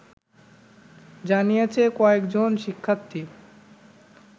জানিয়েছে কয়েকজন শিক্ষার্থী